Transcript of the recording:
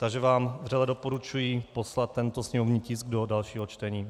Takže vám vřele doporučuji poslat tento sněmovní tisk do dalšího čtení.